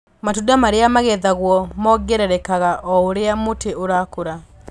Matunda marĩa magethagwo mongererekaga oũrĩa mũtĩ ũrakũra.